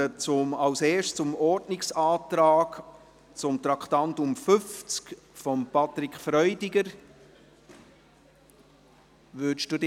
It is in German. Zuerst kommen wir zum Ordnungsantrag von Patrick Freudiger zu Traktandum 50.